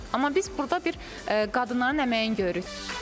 Amma biz burda bir qadınların əməyini görürük.